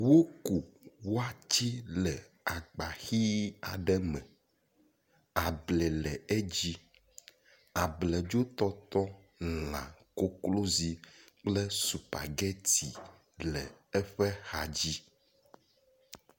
Woku watse le agba hi aɖe me, ablɛ le edzi, abledzo tɔtɔ lã, koklozi kple supageti le eƒe axa dzi